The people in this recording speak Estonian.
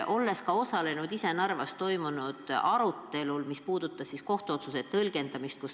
Ma osalesin ka ise Narvas toimunud arutelul, kus räägiti kohtuotsuse tõlgendamisest.